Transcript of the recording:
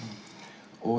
og